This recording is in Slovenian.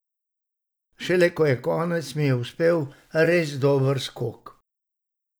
Šele ko je konec, mi je uspel res dober skok.